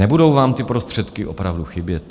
Nebudou vám ty prostředky opravdu chybět?